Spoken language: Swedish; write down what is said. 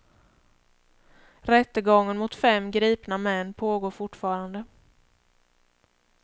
Rättegången mot fem gripna män pågår fortfarande.